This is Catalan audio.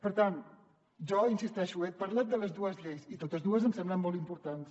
per tant jo hi insisteixo he parlat de les dues lleis i totes dues em semblen molt importants